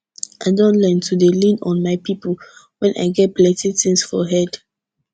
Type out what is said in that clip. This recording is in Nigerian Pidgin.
i don learn to dey lean on my people when i get plenty tins for head